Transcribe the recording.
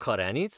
खऱ्यानीच?